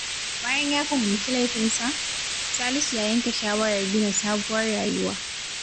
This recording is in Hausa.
Bayan ya fahimci laifinsa, Salisu ya yanke shawarar gina sabuwar rayuwa.